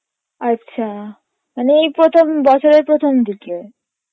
আচ্ছা মানে ওই প্রথম বছরের প্রথম দিকে